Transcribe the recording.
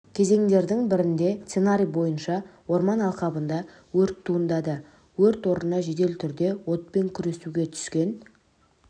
кезеңдердің бірінде сценарий бойынша орман алқабында өрт туындады өрт орнына жедел түрде отпен күреске түскен